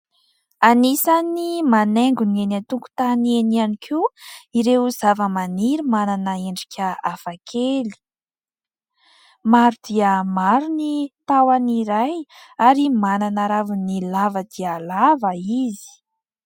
Anisan'ny manaingo ny eny an-tonkotany eny iany koa ireo zava-maniry manana endrika hafakely. Maro dia maro ny tahon'ny iray ary manana raviny lava dia lava izy.